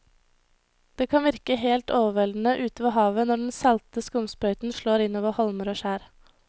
Det kan virke helt overveldende ute ved havet når den salte skumsprøyten slår innover holmer og skjær.